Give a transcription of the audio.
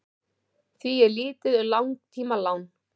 því er lítið um langtímalán